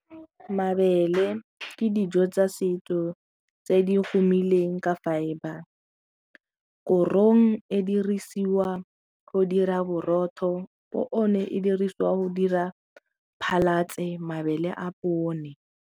Mabele ke dijo tsa setso tse di humileng ka fibre, korong e dirisiwa go dira borotho e dirisiwa go dira phasalatse mabele a pone.